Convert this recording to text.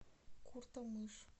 куртамыш